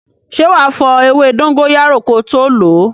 Ṣé wá fo ewé dóngóyárò ko tó lo?